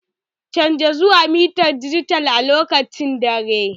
Canja zuwa mitar dijital a lokacin dare!